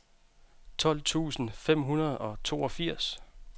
tolv tusind fem hundrede og toogfirs